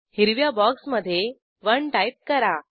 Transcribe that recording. हिरव्या बॉक्समधे 1 टाईप करा